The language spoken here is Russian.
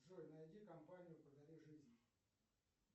джой найди компанию подари жизнь